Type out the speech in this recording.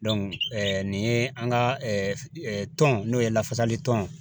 nin ye an ka tɔn n'o ye lafasali tɔn